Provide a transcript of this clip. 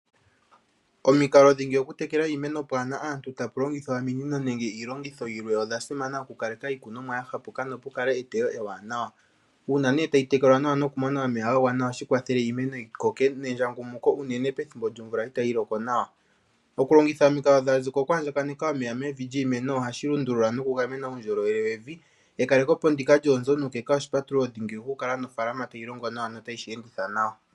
Omikalo dhingi oku tekela iimeno itaapu longithwa ominino nenge iilongitho yilwe odha simana, oku kaleka iikunomwa ya hapuka, nopu kale eteyo ewanawa. Uuna ne ta yi tekelwa nawa noku mona omeya ga gwana oha shi kwathele iimeno yi koke, nendjangumuko unene pethimbo lyomvula ita yi loko nawa. Oku longitha omikalo ngaashi oku andjaneka omeya ohashi lundula noku gamena uundjolowele wevi, ekalekepo ndika lyoonzo nuukeka oshipatululo dhingi oku kala nofaalama ta yi longo nawa nota yi shi enditha nawa.